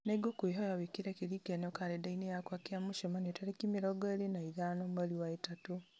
nĩ ngũkũhoya wĩkĩre kĩririkano karenda-inĩ yakwa kĩa mũcemanio tarĩki mĩrongo ĩrĩ na ithano mweri wa ĩtatũ